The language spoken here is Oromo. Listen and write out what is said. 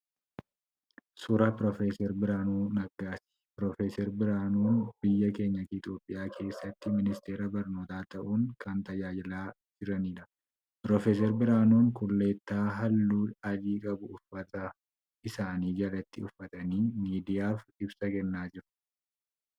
Suuraa Pr. Biraanuu Naggaati. Pr. Biraanuun biyya keenya Itiyoopiyaa keessatti ministeera barnootaa ta'uun kan tajaajilaa jiraniidha. Pr. Biraanuun kullittaa halluu adii qabu uffata isaanii jalatti uffatanii miidiyaaf ibsa kennaa jiru.